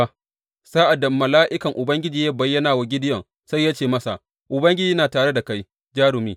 Sa’ad da mala’ikan Ubangiji ya bayyana wa Gideyon, sai ya ce masa, Ubangiji yana tare da kai, jarumi.